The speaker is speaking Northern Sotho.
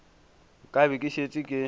ka be ke šetše ke